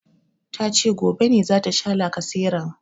Tace gobe ne zata sha lacaseran